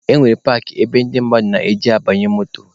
E nwere paakị ebe ndị mmadụ na-eje abanye moto.